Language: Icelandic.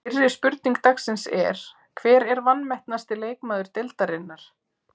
Fyrri spurning dagsins er: Hver er vanmetnasti leikmaður deildarinnar?